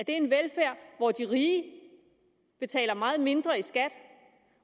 en velfærd hvor de rige betaler meget mindre i skat